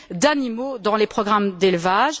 d'animaux dans les programmes d'élevage.